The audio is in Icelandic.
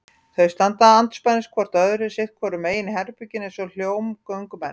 Þau standa andspænis hvort öðru sitt hvoru megin í herberginu eins og hólmgöngumenn.